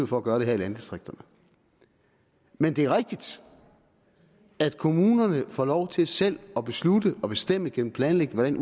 for at gøre det her i landdistrikterne men det er rigtigt at kommunerne får lov til selv at beslutte og bestemme igennem planlægning